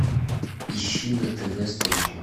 ищи на тв сочи